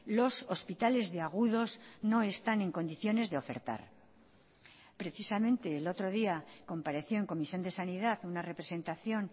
los hospitales de agudos no están en condiciones de ofertar precisamente el otro día compareció en comisión de sanidad una representación